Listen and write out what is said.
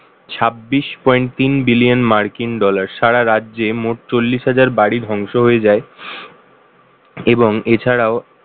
ছাব্বিশ point তিন billion মার্কিন dollar সারা রাজ্যে মোট চল্লিশ হাজার বাড়ি ধ্বংস হয়ে যায় এবং এছাড়াও